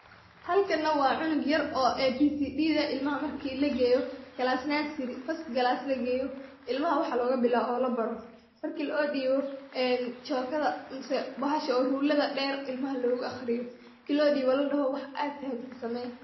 halkana waa cunug yar oo ABCDdha ilmaha marki lageeyo class nursery first class lageeyo ilmaha waxa loogabilaabo oo labaro. Marki loodibo chock adha mise bahasha ruler dheer oo loodibo oo ladoho waxa aad fahamte samee.